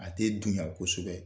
A tɛ dunya kosɛbɛ.